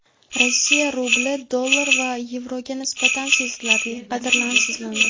Rossiya rubli dollar va yevroga nisbatan sezilarli qadrsizlandi.